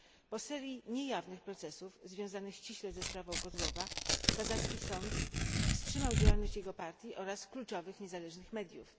Po szeregu niejawnych procesów, związanych ściśle ze sprawą Kozlova, kazachstański sąd wstrzymał działalność jego partii oraz kluczowych niezależnych mediów.